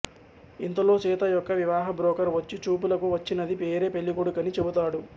ఇంతలో సీత యొక్క వివాహ బ్రోకర్ వచ్చి చూపులకు వచ్చినది వేరే పెళ్ళికొడుకని చెబుతాడు